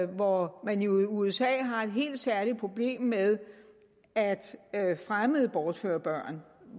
hvor man jo i usa har et helt særligt problem med at fremmede bortfører børn